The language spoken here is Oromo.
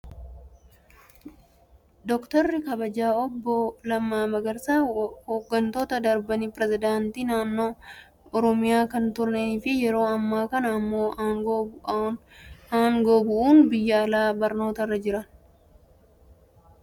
Doktarri kabajaa obbo Lammaa Magarsaa waggoottan darbaniif pirezedaantii naannoo oromiyaa kan turanii fi yeroo ammaa kana immoo aangoo bu'uun biyya alaa barnootarra jira. Haalli gaggeessummaa isaa nama baay'ee dinqisiifatamu isa taasiseera.